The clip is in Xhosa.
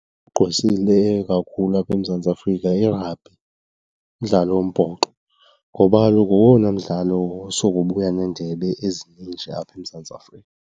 Ogqwesileyo kakhulu apha eMzantsi Afrika yirabhi, umdlalo wombhoxo. Ngoba kaloku ngowona mdlalo osoko ubuya neendebe ezininji apha eMzantsi Afrika.